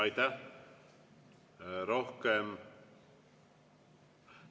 Aitäh!